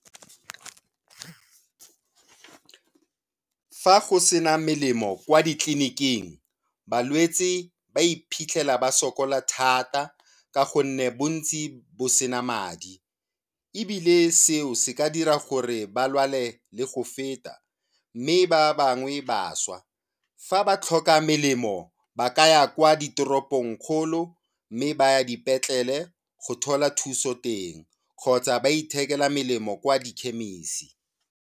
Fa go sena melemo kwa ditliliniking, balwetse ba iphitlhela ba sokola thata ka gonne bontsi bo se na madi ebile seo se ka dira gore ba lwale le go feta mme ba bangwe ba swa. Fa ba tlhoka melemo ba ka ya kwa ditoropongkgolo mme ba ya dipetlele go thola thuso teng kgotsa ba ithekela melemo kwa dikhemisi.